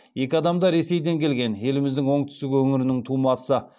екі адам да ресейден келген еліміздің оңтүстік өңірінің тумасы